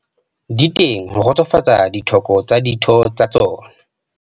Di teng ho kgotsofatsa ditlhoko tsa ditho tsa tsona.